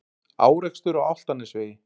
Árekstur á Álftanesvegi